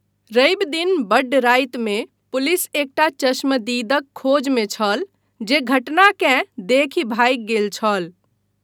रवि दिन बड्ड रातिमे, पुलिस एकटा चश्मदीदक खोजमे छल, जे घटनाकेँ देखि भागि गेल छल।